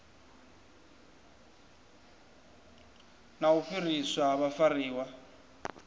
na u fhiriswa ha vhafariwa